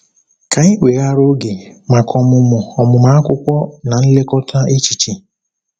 Ka anyị weghara oge maka ọmụmụ ọmụmụ akwụkwọ na nlekọta echiche.